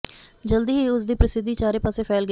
ਜਲਦੀ ਹੀ ਉਸ ਦੀ ਪ੍ਰਸਿੱਧੀ ਚਾਰੇ ਪਾਸੇ ਫੈਲ ਗਈ